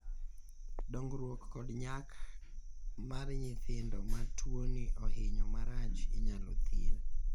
dongruok kod nyak mar nyithindo ma tuoni ohinyo marach inyalo thir